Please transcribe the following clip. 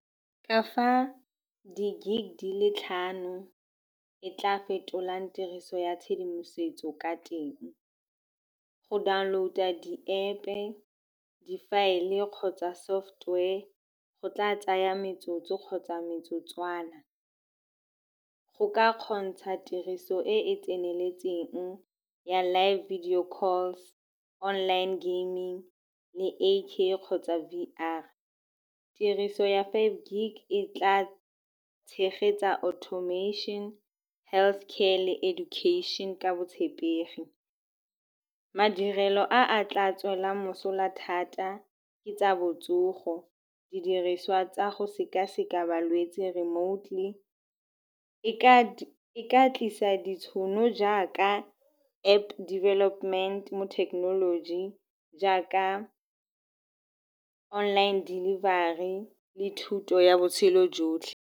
Ka fa di-gig di le tlhano e tla fetolang tiriso ya tshedimosetso ka teng. Go download-a di-App-e, difaele kgotsa software go tla tsaya metsotso kgotsa metsotswana. Go ka kgontsha tiriso e e tseneletseng ya live video calls, online gaming le A_K kgotsa V_R. Tiriso ya five gig e tla tshegetsa automation, health care le education ka botshepegi. Madirelo a a tla tswelang mosola thata ke tsa botsogo, didiriswa tsa go sekaseka balwetse remotely. E ka tlisa ditšhono jaaka App development mo thekenoloji jaaka online delivery le thuto ya botshelo jotlhe.